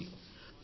చూసుకోండి